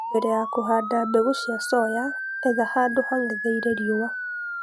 mbele ya kũhanda mbegu cia soya, etha handũ hang'etheire riũa